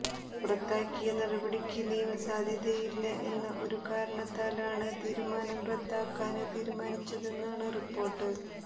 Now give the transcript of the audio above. പുറത്താക്കിയ നടപടിക്ക് നിയമ സാധുതയില്ലാ എന്ന ഒരു കാരണത്താലാണ് തീരുമാനം റദ്ദാക്കാന് തീരുമാനിച്ചതെന്നാണ് റിപ്പോര്ട്ട്